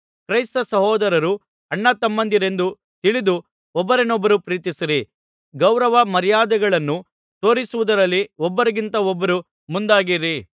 ಕ್ರೈಸ್ತ ಸಹೋದರರು ಅಣ್ಣ ತಮ್ಮಂದಿರೆಂದು ತಿಳಿದು ಒಬ್ಬರನ್ನೊಬ್ಬರು ಪ್ರೀತಿಸಿರಿ ಗೌರವಮರ್ಯಾದೆಗಳನ್ನು ತೋರಿಸುವುದರಲ್ಲಿ ಒಬ್ಬರಿಗಿಂತ ಒಬ್ಬರು ಮುಂದಾಗಿರಿ